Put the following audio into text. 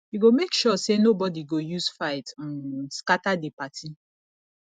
you go make sure sey nobodi go use fight um scatter di party